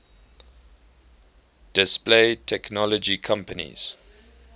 display technology companies